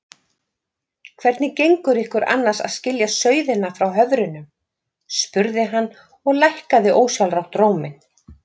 Hvernig gengur ykkur annars að skilja sauðina frá höfrunum? spurði hann og lækkaði ósjálfrátt róminn.